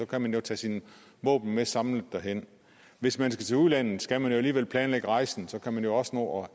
kan man jo tage sine våben med samlet derhen hvis man skal til udlandet skal man jo alligevel planlægge rejsen og så kan man jo også nå at